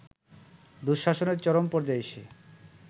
দুঃশাসনের চরম পর্যায়ে এসে